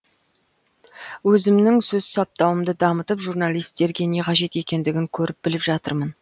өзімнің сөз саптауымды дамытып журналисттерге не қажет екендігін көріп біліп жатырмын